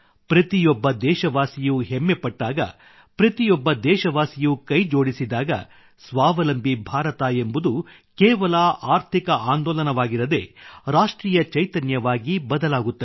ಪ್ರತಿಯೊಬ್ಬ ದೇಶವಾಸಿಯೂ ಹೆಮ್ಮಪಟ್ಟಾಗ ಪ್ರತಿಯೊಬ್ಬ ದೇಶವಾಸಿಯೂ ಕೈಜೋಡಿಸಿದಾಗ ಸ್ವಾವಲಂಬಿ ಭಾರತ ಎಂಬುದು ಕೇವಲ ಆರ್ಥಿಕ ಆಂದೋಲನವಾಗಿರದೇ ರಾಷ್ಟ್ರೀಯ ಚೈತನ್ಯವಾಗಿ ಬದಲಾಗುತ್ತದೆ